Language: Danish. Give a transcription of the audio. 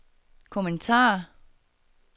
kommentar